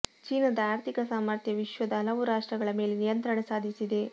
ಚೀನಾದ ಆರ್ಥಿಕ ಸಾಮಥ್ರ್ಯ ವಿಶ್ವದ ಹಲವು ರಾಷ್ಟ್ರಗಳ ಮೇಲೆ ನಿಯಂತ್ರಣ ಸಾಧಿಸಿದೆ